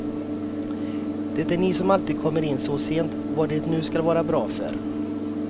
Det är ni som alltid kommer in så sent, vad det nu skall vara bra för.